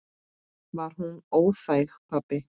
Var hún óþæg, pabbi?